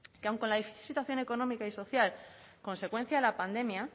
que aun con la situación económica y social consecuencia de la pandemia